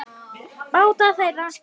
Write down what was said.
Báta þeirra